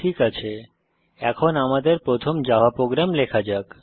ঠিক আছে এখন আমাদের প্রথম জাভা প্রোগ্রাম লেখা যাক